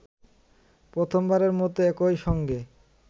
প্রথমবারের মতো একই সঙ্গে